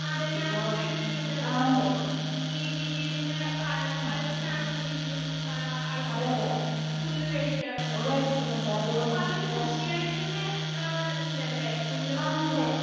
അതെ ഞാനും കേട്ടിട്ടുണ്ട് ഈ വീടിൻ്റെ ഇപ്പൊ അലങ്കാരത്തിനാണെന്നുണ്ടെങ്കിലും ഏഹ് ആൾക്കാര് പുല്ല് മേടിക്കാറുണ്ടല്ലേ? അപ്പോ അതൊരു കൃഷിയായിട്ടന്നെ ഏഹ് ഉണ്ടല്ലേ പുല്ല്